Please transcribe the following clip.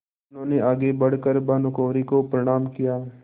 उन्होंने आगे बढ़ कर भानुकुँवरि को प्रणाम किया